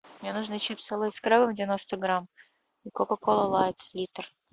мне нужны чипсы лейс с крабом девяносто грамм и кока кола лайт литр